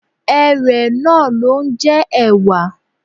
Erèé náà ló ń jẹ́ ẹ̀wà